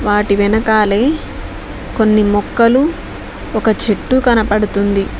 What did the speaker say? వాటి వెనకాలే కొన్ని మొక్కలు ఒక చెట్టు కనపడుతుంది.